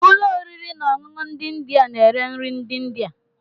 Ụlọ oriri na ọṅụṅụ ndị India na-ere nri ndị India.